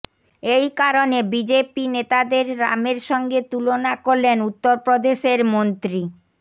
এই কারনে বিজেপি নেতাদের রামের সঙ্গে তুলনা করলেন উত্তরপ্রদেশের মন্ত্রী